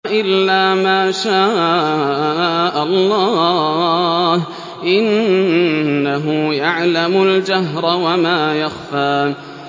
إِلَّا مَا شَاءَ اللَّهُ ۚ إِنَّهُ يَعْلَمُ الْجَهْرَ وَمَا يَخْفَىٰ